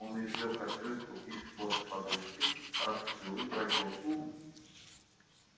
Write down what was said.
он извлёк открытку из-под подушки раскрыл и прочёл вслух